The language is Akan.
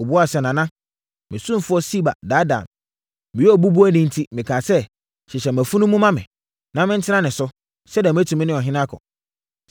Ɔbuaa sɛ, “Nana, me ɔsomfoɔ Siba daadaa me. Meyɛ obubuafo enti, mekaa sɛ, ‘hyehyɛ mʼafunumu ma me, na mentena ne so, sɛdeɛ mɛtumi ne ɔhene akɔ.’